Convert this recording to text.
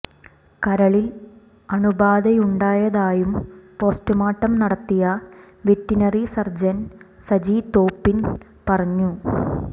കരളിൽ അണുബാധയുണ്ടായതായും പോസ്റ്റുമോർട്ടം നടത്തിയ വെറ്റിനറി സർജൻ സജി തോപ്പിൽ പറഞ്ഞു